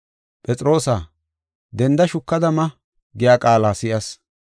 ‘Phexroosaa, denda, shukada ma’ giya qaala si7as.